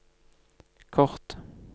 kort